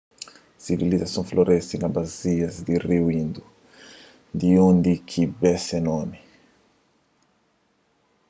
sivilizason floresi na basias di riu indu di undi ki be se nomi